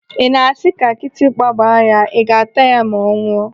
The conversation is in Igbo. Ị na-asị ka kịtịkpa gbaa ya, ị ga ataya ma ọ nwụọ?